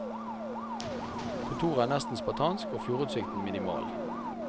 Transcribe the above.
Kontoret er nesten spartansk, og fjordutsikten minimal.